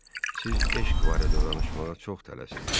Siz eşq barədə danışmağa çox tələsdiz.